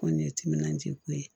Kɔni ye timinandiya ko ye